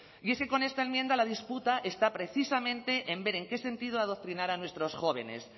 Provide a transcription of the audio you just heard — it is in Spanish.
y es que con esta enmienda la disputa está precisamente en ver en qué sentido adoctrinar a nuestros jóvenes